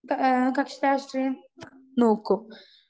speaker 2 കക്ഷിരാഷ്ട്രീയം നോക്കും